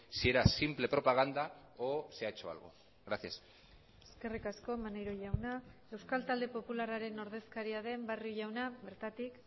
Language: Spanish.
si era simple propaganda o se ha hecho algo gracias eskerrik asko maneiro jauna euskal talde popularraren ordezkaria den barrio jauna bertatik